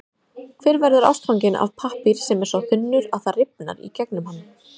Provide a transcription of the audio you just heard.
Hver verður ástfanginn af pappír sem er svo þunnur, að það rifar í gegnum hann?